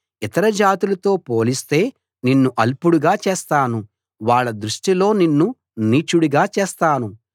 ఇతర జాతులతో పోలిస్తే నిన్ను అల్పుడుగా చేస్తాను వాళ్ళ దృష్టిలో నిన్ను నీచుడిగా చేస్తాను